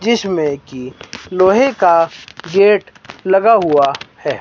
जिस में की लोहे का गेट लगा हुआ है।